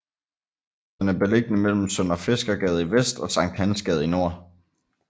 Den er beliggende mellem Sønderfiskergade i vest og Sankt Hans Gade i nord